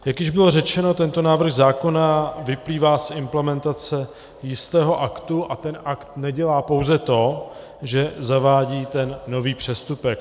Jak již bylo řečeno, tento návrh zákona vyplývá z implementace jistého aktu, a ten akt nedělá pouze to, že zavádí ten nový přestupek.